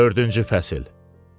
Dördüncü fəsil.